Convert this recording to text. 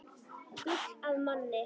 Gull að manni.